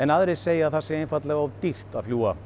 aðrir segja að það sé einfaldlega of dýrt